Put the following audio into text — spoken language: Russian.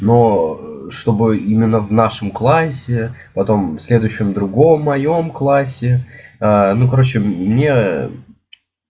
но чтобы именно в нашем классе потом в следующем другом моём классе ну короче мне